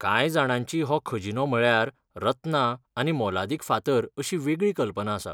कांय जाणांची हो खजिनो म्हळ्यार रत्नां आनी मोलादीक फातर अशी वेगळी कल्पना आसा.